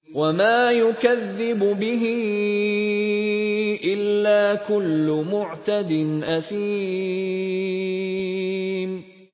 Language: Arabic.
وَمَا يُكَذِّبُ بِهِ إِلَّا كُلُّ مُعْتَدٍ أَثِيمٍ